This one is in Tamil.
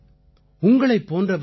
நிதேஷ்ஜி உங்களுக்கு பலப்பல நன்றிகள்